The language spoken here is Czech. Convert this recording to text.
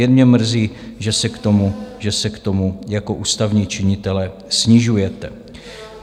Jen mě mrzí, že se k tomu jako ústavní činitelé snižujete.